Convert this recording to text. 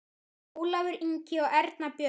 Ólafur Ingi og Erna Björg.